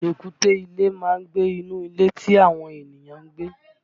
Èkúté ilé a máa gbé inú ilé tí àwọn ènìyàn ń gbé